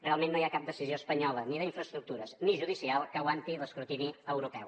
realment no hi ha cap decisió espanyola ni d’infraestructures ni judicial que aguanti l’escrutini europeu